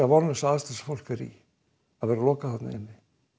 vonlausu aðstæður sem fólk er í að vera lokað inni